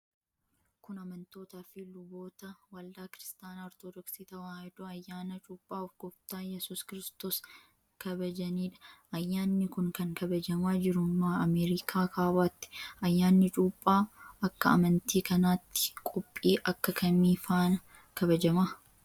Kun, amantoota fi luboota waldaa Kiristaana Ortodooksii Tawaahidoo ayyaana cuuphaa Gooftaa Iyyasuus Kiristoos kabajanii dha. Ayyaanni kun, kan kabajamaa jiru Ameerika Kaabaatti. Ayyaanni cuuphaa ,akka amantii kanaatti qophii akka kamii faan kabajama?